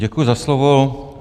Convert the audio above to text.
Děkuji za slovo.